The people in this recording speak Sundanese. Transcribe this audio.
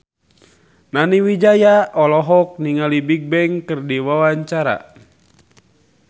Nani Wijaya olohok ningali Bigbang keur diwawancara